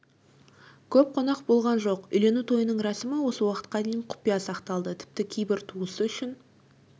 көп қонақ болған жоқ үйлену тойының рәсімі осы уақытқа дейін құпия сақталды тіпті кейбір туысы үшін